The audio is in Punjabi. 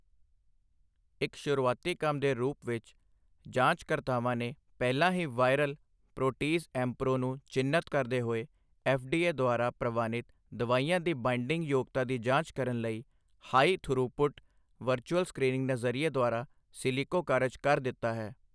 ਇੱਕ ਸ਼ੁਰੂਆਤੀ ਕੰਮ ਦੇ ਰੂਪ ਵਿੱਚ, ਜਾਂਚਕਰਤਾਵਾਂ ਨੇ ਪਹਿਲਾਂ ਹੀ ਵਾਈਰਲ ਪ੍ਰੋਟੀਜ਼ ਐਮਪ੍ਰੋ ਨੂੰ ਚਿੰਨਤ ਕਰਦੇ ਹੋਏ ਐੱਫ਼ਡੀਏ ਦੁਆਰਾ ਪ੍ਰਵਾਨਿਤ ਦਵਾਈਆਂ ਦੀ ਬਾਇੰਡਿੰਗ ਯੋਗਤਾ ਦੀ ਜਾਂਚ ਕਰਨ ਲਈ ਹਾਈ ਥਰੂਪੁੱਟ ਵਰਚੁਅਲ ਸਕ੍ਰੀਨਿੰਗ ਨਜ਼ਰੀਏ ਦੁਆਰਾ ਸਿਲਿਕੋ ਕਾਰਜ ਕਰ ਦਿੱਤਾ ਹੈ।